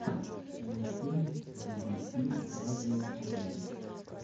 мультфильм би би си радио один